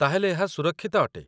ତା'ହେଲେ ଏହା ସୁରକ୍ଷିତ ଅଟେ